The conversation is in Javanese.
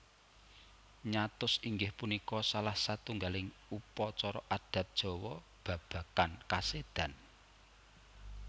Nyatus inggih punika salah satunggaling upacara adat Jawa babagan kasédan